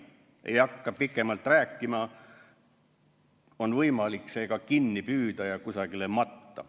Ma ei hakka pikemalt rääkima, aga on võimalik see ka kinni püüda ja kusagile matta.